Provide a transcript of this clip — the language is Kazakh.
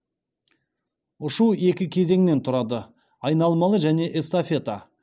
ұшу екі кезеңнен тұрады айналмалы және эстафета